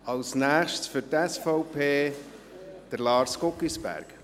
Als nächster für die SVP: Lars Guggisberg.